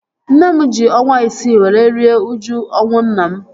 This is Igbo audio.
Nne m ji ọnwa isii were rie uju ọnwụ nna m